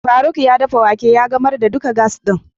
Faruk ya dafa wake ya gamar da duka gas din.